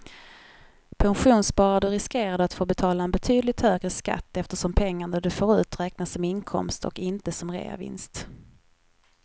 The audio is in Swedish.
Pensionssparar du riskerar du att få betala en betydligt högre skatt eftersom pengarna du får ut räknas som inkomst och inte som reavinst.